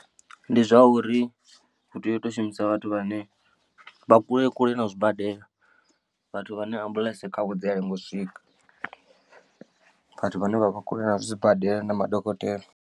Ndi zwauri hu tea u to shumisa vhathu vhane vha kule kule na zwibadela vhathu vhane ambuḽentse khavho dzia lenga u swika vhathu vhane vha vha kule na zwibadela na madokotela.